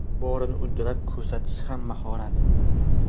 Borini uddalab ko‘rsatish ham mahorat.